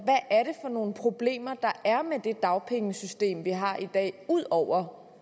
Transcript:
er nogle problemer der er med det dagpengesystem vi har i dag ud over